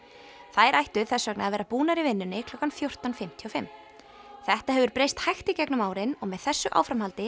þær ættu þess vegna að vera búnar í vinnunni klukkan fjórtán fimmtíu og fimm þetta hefur breyst hægt í gegnum árin og með þessu áframhaldi